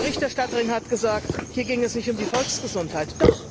Die Berichterstatterin hat gesagt, hier gehe es nicht um die Volksgesundheit.